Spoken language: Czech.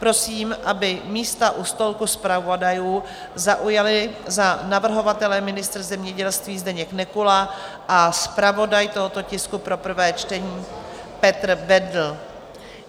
Prosím, aby místa u stolku zpravodajů zaujali za navrhovatele ministr zemědělství Zdeněk Nekula a zpravodaj tohoto tisku pro prvé čtení Petr Bendl.